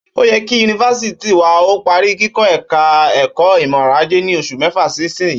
Ó yẹ kí yunifásítì wa ó parí kikọ́ ẹ̀ka ẹ̀kọ́ ìmọọrọ̀ajé ní oṣù mẹ́fà sísinyìí